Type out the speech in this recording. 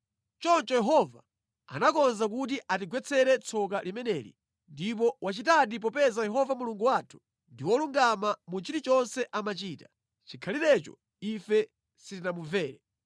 Choncho Yehova anakonza kuti atigwetsere tsoka limeneli, ndipo wachitadi popeza Yehova Mulungu wathu ndi wolungama mu chilichonse amachita; chikhalirecho ife sitinamumvere.